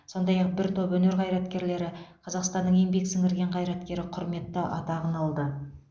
сондай ақ бір топ өнер қайраткерлері қазақстанның еңбек сіңірген қайраткері құрметті атағын алды